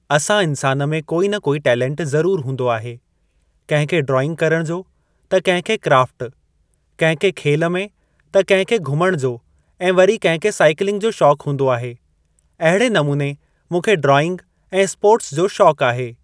असां इंसान में कोई न कोई टैलेंट ज़रूर हूंदो आहे कंहिं खे ड्राइंग करण जो त कंहिं खे क्राफ्ट, कंहिं खे खेल में त कंहिं खे घुमण जो ऐं वरी कंहिं खे साईकिलिंग जो शौक़ हूंदो आहे। अहिड़े नमूने मूंखे ड्राईंग ऐं स्पोर्ट्स जो शौक़ आहे।